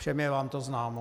Všem je vám to známo.